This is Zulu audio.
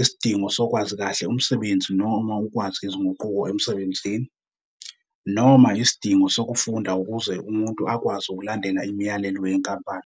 isidingo sokwazi kahle umsebenzi noma ukwazi izinguquko emsebenzini, noma isidingo sokufunda ukuze umuntu akwazi ukulandela imiyalelo yenkampani.